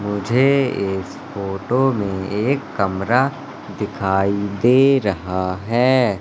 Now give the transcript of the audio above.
मुझे इस फोटो में एक कमरा दिखाई दे रहा है।